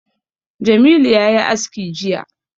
Jamilu ya yi aski jiya